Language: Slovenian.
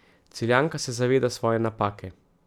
Celjanka se zaveda svoje napake.